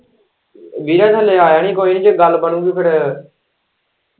ਵੀਰੇ ਹਲੇ ਆਇਆ ਨੀ ਕੋਈ ਜੇ ਗੱਲ ਬਣੂਗੀ ਫੇਰ।